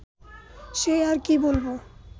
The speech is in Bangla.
সে আর কি বলব